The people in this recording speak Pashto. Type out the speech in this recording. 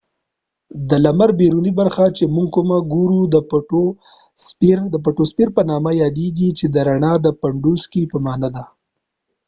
د لمر بیرونی برخه چې موږ کومه ګورو د فوتوسفیر په نامه یاديږی چې د رڼا د پنډوسکې په معنی ده